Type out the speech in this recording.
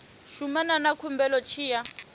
shumana na khumbelo tshi ya